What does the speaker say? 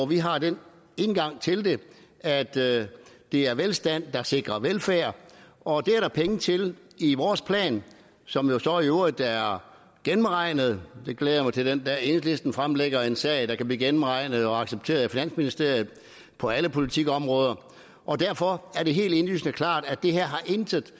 vi har den indgang til det at det er velstand der sikrer velfærd og det er der penge til i vores plan som jo så i øvrigt er gennemregnet jeg glæder mig til den dag enhedslisten fremlægger en sag der kan blive gennemregnet og accepteret i finansministeriet på alle politikområder derfor er det helt indlysende klart at det her intet